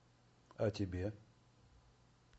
а тебе